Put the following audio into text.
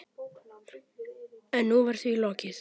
En nú var því lokið.